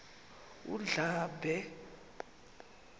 undlambe